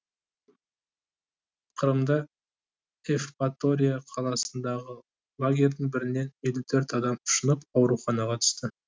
қырымда евпатория қаласындағы лагерьдің бірінен елу төрт адам ұшынып ауруханаға түсті